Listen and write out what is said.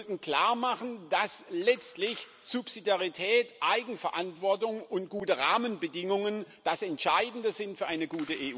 Wir sollten klarmachen, dass letztlich Subsidiarität, Eigenverantwortung und gute Rahmenbedingungen das Entscheidende sind für eine